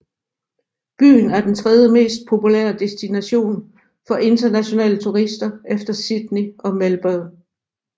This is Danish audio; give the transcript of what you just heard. Byen er den tredjemest populære destination for internationale turister efter Sydney og Melbourne